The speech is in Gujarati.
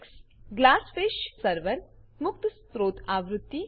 ગ્લાસફિશ સર્વર ગ્લાસફીશ સર્વર મુક્ત સ્ત્રોત આવૃત્તિ